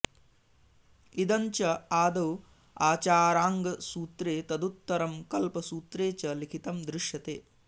इदञ्च आदौ आचाराङ्गसूत्रे तदुत्तरं कल्पसूत्रे च लिखितं दृश्यते